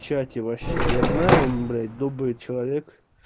чате вообще я знаю он блять добрый человек